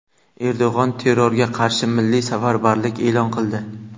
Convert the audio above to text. Erdo‘g‘on terrorga qarshi milliy safarbarlik e’lon qildi.